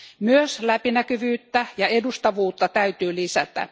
Myös läpinäkyvyyttä ja edustavuutta täytyy lisätä.